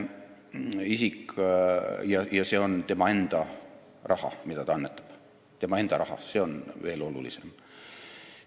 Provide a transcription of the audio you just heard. Ja see on tema enda raha, mida ta annetab – see on veel olulisem.